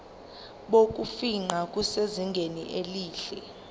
bokufingqa busezingeni elihle